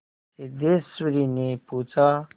सिद्धेश्वरीने पूछा